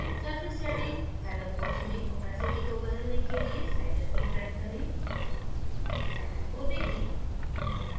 surface setting dialog box में opacity को बदलने के लिए slider को drag करें panel को देखें